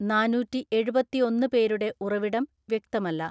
നാന്നൂറ്റിഎഴുപത്തിഒന്ന് പേരുടെ ഉറവിടം വ്യക്തമല്ല.